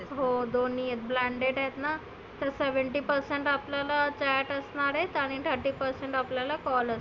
हो दोन्ही आहे blanded आहेत ना. तर seventy percent आपल्याला chat असणार आहे आणि thirty percent आपल्याला call आहे.